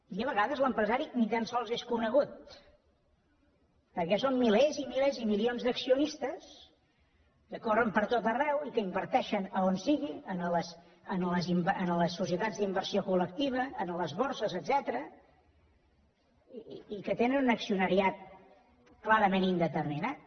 i a vegades l’empresari ni tan sols és conegut perquè són milers i milers i milions d’accionistes que corren pertot arreu i que inverteixen a on sigui a les societats d’inversió col·lectiva a les borses etcètera i que tenen un accionariat clarament indeterminat